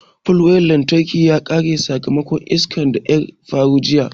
Palwaya na lantarki ya karye sakamakon iskan da ƴa faru jiƴa.